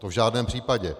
To v žádném případě.